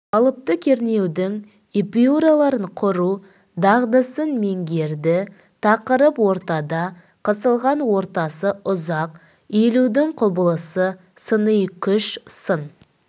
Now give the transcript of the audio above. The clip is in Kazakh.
қалыпты кернеудің эпюраларын құру дағдысын меңгереді тақырып ортада қысылған ортасы ұзақ иілудің құбылысы сыни күш сын